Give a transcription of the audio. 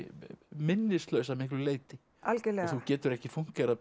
minnislaus að miklu leyti algjörlega og þú getur ekki fúnkerað